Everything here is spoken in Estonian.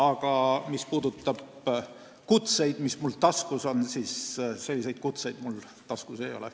Aga mis puudutab kutseid, mis mul ehk sahtlis on, siis selle sisuga kutseid mul sahtlis ei ole.